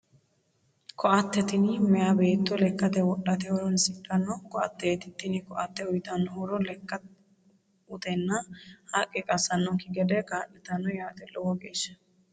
Koatte tini meeya beetto lekkate wodhate horoonsidhanno koatteeti. Tini koatte uuytanno horo lekka utenna haqqe qassannokki gede kaa'litanno yaate lowo geeshsha.